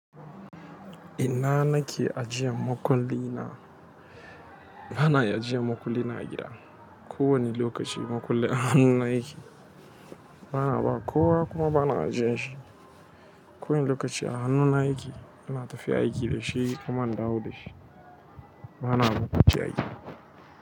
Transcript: Ina na ke ajiyan makulli na, bana iya ajiyan makulli na a gida. Ko wani lokaci makulli a hannu na yake, bana ba kowa kuma bana ajiye shi. Ko wani lokaci a hannu na yake, ina tafiya aiki da shi kuma in dawo da shi, bana barin shi a gida.